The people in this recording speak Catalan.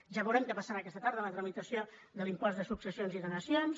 ja veurem què passarà aqueta tarda en la tramitació de l’impost de successions i donacions